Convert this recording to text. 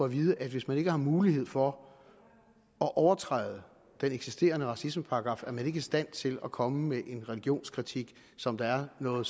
vide at hvis man ikke har mulighed for at overtræde den eksisterende racismeparagraf er man ikke i stand til at komme med en religionskritik som der er noget